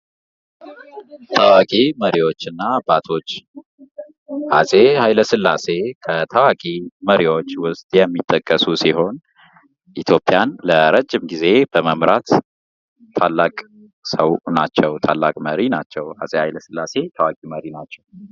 ታዋቂ መሪዎች እና አባቶች:- አፄ ኃይለ ሥላሴ ከታዋቂ መሪዎች ዉስጥ የሚጠቀሱ ሲሆን ኢትዮጵያን ለረዥም ጊዜ በመምራት ታላቅ ሰዉ ናቸዉ። ታላቅ መሪ ናቸዉ። አፄ ኃይለ ሥላሴ ታላቅ መሪ ናቸዉ።